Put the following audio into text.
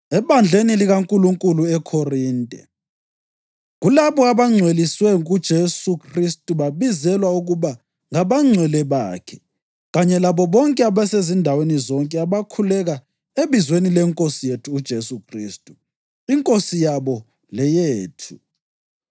Ebandleni likaNkulunkulu eKhorinte, kulabo abangcweliswe kuJesu Khristu babizelwa ukuba ngabangcwele bakhe kanye labo bonke abasezindaweni zonke abakhuleka ebizweni leNkosi yethu uJesu Khristu, iNkosi yabo leyethu: